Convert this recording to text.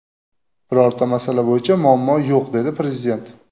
Birorta masala bo‘yicha muammo yo‘q”, dedi Prezident.